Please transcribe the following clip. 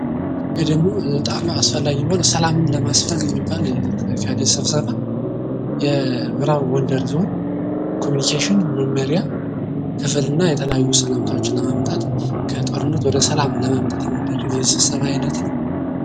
ይሄ ደግሞ በጣም አስፈላጊ የሆነ ሰላምን ለማስፈን የሚባል ስብሰባ። የምዕራብ ጎንደር ዞን ኮሚኒኬሽን መምሪያ ክፍልና የተለያዩ ሰላምታዎችን ለማምጣት ከጦርነት ወደ ሰላም ለማምጣት የስብሰባ አይነት ነው።